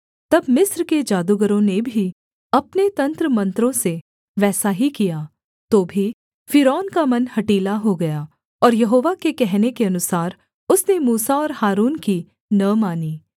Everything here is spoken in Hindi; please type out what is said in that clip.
तब मिस्र के जादूगरों ने भी अपने तंत्रमंत्रों से वैसा ही किया तो भी फ़िरौन का मन हठीला हो गया और यहोवा के कहने के अनुसार उसने मूसा और हारून की न मानी